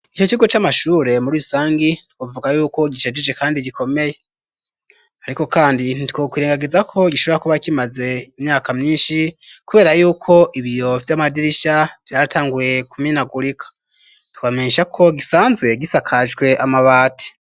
Ico kigo c'amashure muri rusangi bavuga yuko gishajije kandi gikomeye. Ariko kandi ntitwokwirengagiza ko gishobora kuba kimaze imyaka myinshi, kubera yuko ibiyo vy'amadirisha vyaratanguye kumenagurika. Twobamenyesha ko gisanzwe gisakajwe amabati.